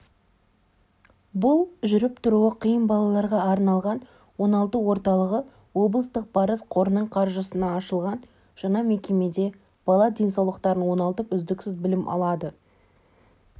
бұл жүріп-тұруы қиын балаларға арналған оңалту орталығы облыстық парыз қорының қаржысына ашылған жаңа мекемеде бала денсаулықтарын оңалтып үздіксіз білім алады